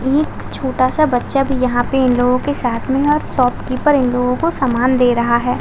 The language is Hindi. एक छोटा सा बच्चा भी यहाँ पे इन लोगो के साथ में और शॉपकीपर इन लोगों को सामान दे रहा है।